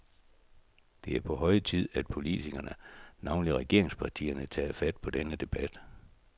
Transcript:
Det er på høje tid, at politikerne, navnligt regeringspartierne, tager fat på denne debat.